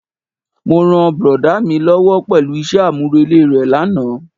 Mo ràn brọ̀dá mi lówó pẹ̀lú isẹ́ àmúrelé re lánàá.